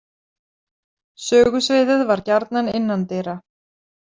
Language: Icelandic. Sögusviðið var gjarnan innandyra.